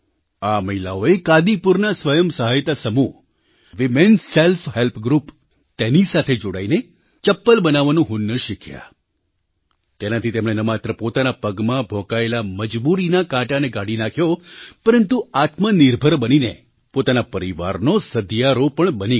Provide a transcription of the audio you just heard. આ મહિલાઓએ કાદીપુરના સ્વયં સહાયતા સમૂહ વીમેન સેલ્ફ હૅલ્પ ગ્રૂપ તેની સાથે જોડાઈને ચપ્પલ બનાવવાનું હુન્નર શીખ્યા તેનાથી તેમણે ન માત્ર પોતાના પગમાં ભોંકાયેલા મજબૂરીના કાંટાને કાઢી નાખ્યો પરંતુ આત્મનિર્ભર બનીને પોતાના પરિવારનોસધિયારો પણ બની ગઈ